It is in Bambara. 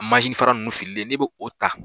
fara mun fililen ne bɛ'o ta.